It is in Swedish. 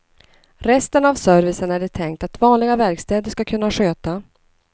Resten av servicen är det tänkt att vanliga verkstäder ska kunna sköta.